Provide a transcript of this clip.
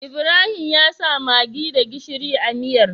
Ibrahim yasa maggi da gishiri a miyar